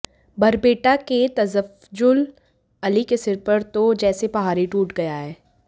बरपेटा के तफजुल्ल अली के सिर पर तो जैसे पहाड़ ही टूट गया है